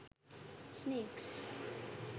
snakes